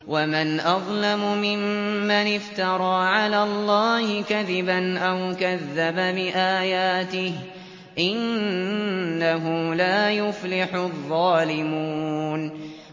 وَمَنْ أَظْلَمُ مِمَّنِ افْتَرَىٰ عَلَى اللَّهِ كَذِبًا أَوْ كَذَّبَ بِآيَاتِهِ ۗ إِنَّهُ لَا يُفْلِحُ الظَّالِمُونَ